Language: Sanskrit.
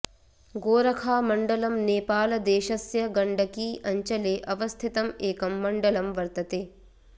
गोरखामण्डलम् नेपालदेशस्य गण्डकी अञ्चले अवस्थितं एकं मण्डलं वर्तते